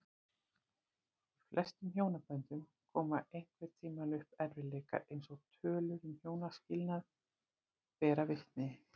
Í flestum hjónaböndum koma einhvern tímann upp erfiðleikar eins og tölur um hjónaskilnaði bera vitni.